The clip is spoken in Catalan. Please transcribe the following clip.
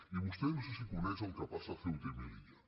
i vostè no sé si coneix el que passa a ceuta i meli·lla